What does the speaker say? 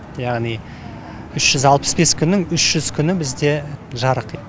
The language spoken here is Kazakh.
яғни үш жүз алпыс бес күннің үш жүз күні бізде жарық